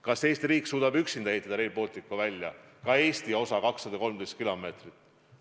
Kas Eesti riik suudab üksinda Rail Balticu välja ehitada, selle Eesti osa 213 kilomeetrit?